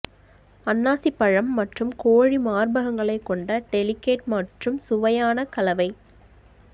அன்னாசிப்பழம் மற்றும் கோழி மார்பகங்களை கொண்ட டெலிகேட் மற்றும் சுவையான கலவை